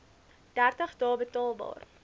dertig dae betaalbaar